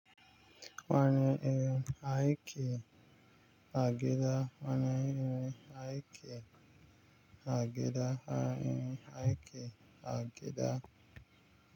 Wani irin aiki a gida wani irin aiki a gida a wane irin aiki a gida.